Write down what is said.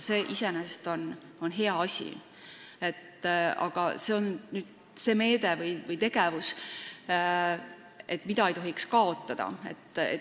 See on iseenesest hea asi, aga see on see meede või tegevus, mida ei tohiks lõpetada.